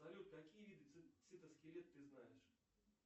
салют какие виды цитоскелет ты знаешь